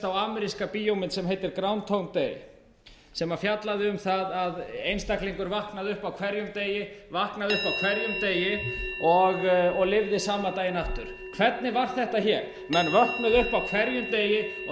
á ameríska bíómynd sem heitir ground hound day sem fjallaði um það að einstaklingur vaknaði upp á hverjum degi vaknaði upp á hverjum degi og lifði sama daginn aftur hvernig var þetta hér menn vöknuðu upp á hverjum degi og þeir spörkuðu